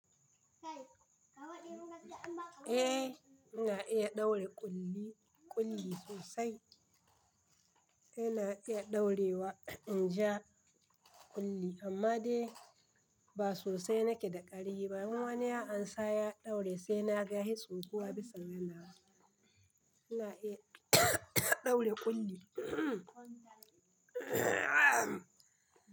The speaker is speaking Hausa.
Eh, ina iya ɗaure ƙulli, ƙulli sosai. Ina iya ɗaurewa, in ja ƙulli amma dai ba sosai nake da ƙari ba. Wani ya ansa ya ɗaure sai na ga hitsun kuwa bisa ganawa. Ina iya ɗaure ƙulli.